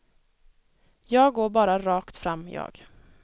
Jag går bara rakt fram, jag.